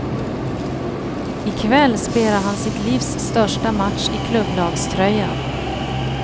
I kväll spelar han sitt livs största match i klubblagströja.